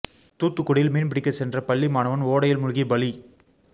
தூத்துக்குடியில் மீன் பிடிக்கச் சென்ற பள்ளி மாணவன் ஓடையில் மூழ்கி பலி